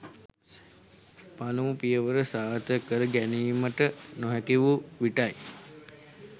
පළමු පියවර සාර්ථක කර ගැනීමට නොහැකි වූ විටයි.